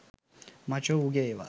මචෝ උගෙ ඒවා.